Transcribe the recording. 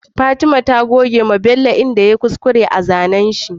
Fatima ta goge wa bello wajan da yayi kuskure a zanan shi